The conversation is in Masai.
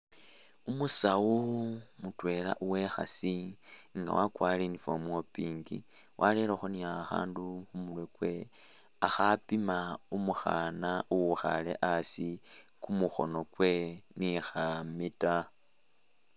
Umusaawu mutwela uwe'khaasi nga wakwarire uniform uwa pink warerekho ni khakhandu mumurwe kwewe akhapima umukhana uwukhaale asi kumukhono kwe ni kha meter.